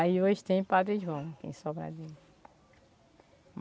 Aí hoje tem Padre João, aqui em Sobradinho.